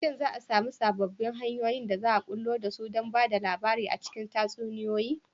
Shin za a sami sababbin hanyoyin da za a bullo da su don ba da labari a cikin tatsuniyoyi?